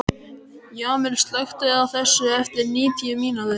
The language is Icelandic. Jamil, slökktu á þessu eftir níutíu mínútur.